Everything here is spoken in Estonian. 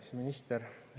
Kaitseminister!